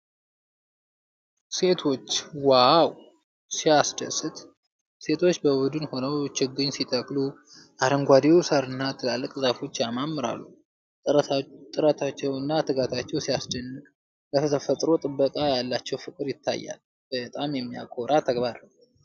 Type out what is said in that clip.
ሴቶች ዋው ሲያስደስት! ሴቶች በቡድን ሆነው ችግኝ ሲተክሉ! አረንጓዴው ሣርና ትላልቅ ዛፎች ያማምራሉ። ጥረታቸውና ትጋታቸው ሲያስደንቅ! ለተፈጥሮ ጥበቃ ያላቸው ፍቅር ይታያል። በጣም የሚያኮራ ተግባር ነው።